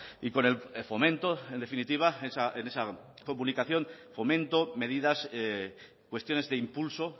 y con el fomento en definitiva en esa comunicación fomento medidas cuestiones de impulso